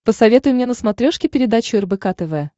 посоветуй мне на смотрешке передачу рбк тв